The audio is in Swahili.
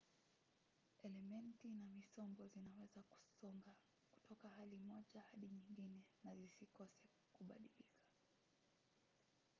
elementi na misombo zinaweza kusonga kutoka hali moja hadi nyingine na zikose kubadilika